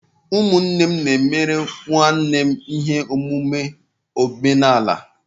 Ụmụnne m na-emere nwanne m ihe omume omenala.